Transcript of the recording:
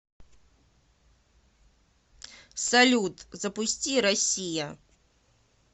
салют запусти россия